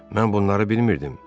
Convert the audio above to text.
Mən bunları bilmirdim.